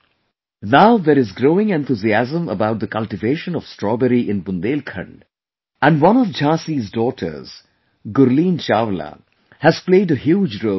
Now, there is growing enthusiasm about the cultivation of Strawberry in Bundelkhand, and one of Jhansi's daughters Gurleen Chawla has played a huge role in it